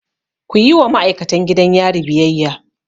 Kuyi wa ma'aikatan gidan yari biyayya!